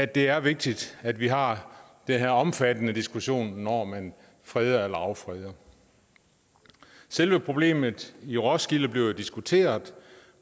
det er vigtigt at vi har den her omfattende diskussion når man freder eller affreder selve problemet i roskilde bliver jo diskuteret